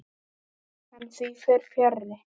En því fer fjarri.